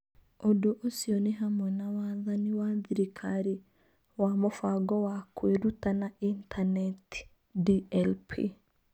Ũndũ ũcio nĩ hamwe na wathani wa thirikari wa Mũbango wa Kwĩruta na Intaneti (DLP).